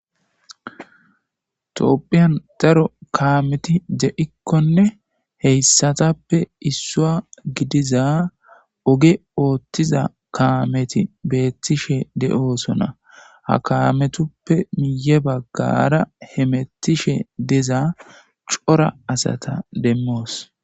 toopphiyan daro kaameti de7ikkonne heyssatappe issua gidiza oge ooththiza kaameti beettishe de7oosona ha kaametuppe miye baggara hemettishe deza cora asata demmoos